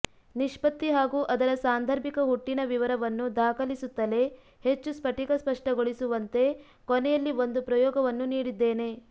ನಿಷ್ಪತ್ತಿ ಹಾಗೂ ಅದರ ಸಾಂದರ್ಭಿಕ ಹುಟ್ಟಿನ ವಿವರವನ್ನು ದಾಖಲಿಸುತ್ತಲೇ ಹೆಚ್ಚು ಸ್ಫಟಿಕ ಸ್ಪಷ್ಟಗೊಳಿಸುವಂತೆ ಕೊನೆಯಲ್ಲಿ ಒಂದು ಪ್ರಯೋಗವನ್ನೂ ನೀಡಿದ್ದೇನೆ